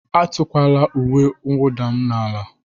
Etukwala uwe mwụda m n'ala!